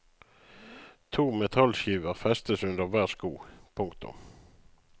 To metallskiver festes under hver sko. punktum